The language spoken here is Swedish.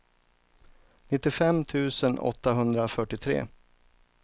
nittiofem tusen åttahundrafyrtiotre